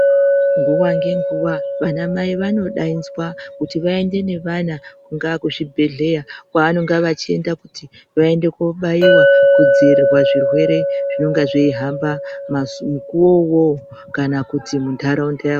Nguwa ngenguwa vanamai vanodainzwa, kuti vaende nevana kungaa kuzvibhedhleya, kwaanonga vachienda kuti, vaende kobaiwa kudzivirirwa zvirwere zvinonga zveihamba mazu mukuwo uwowo, kana kuti muntaraundayo.